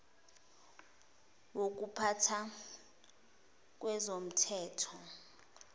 wokupha tha kwezomthetho